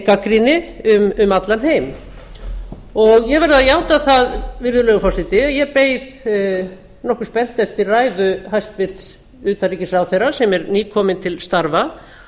gagnrýni um allan heim ég verð að játa það virðulegur forseti að ég beið nokkuð spennt eftir ræðu hæstvirts utanríkisráðherra sem er nýkominn til starfa